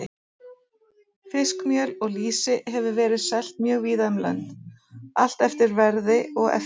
Fiskmjöl og lýsi hefur verið selt mjög víða um lönd, allt eftir verði og eftirspurn.